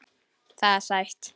Það er sætt.